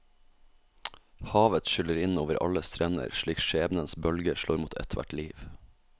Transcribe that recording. Havet skyller inn over alle strender slik skjebnens bølger slår mot ethvert liv.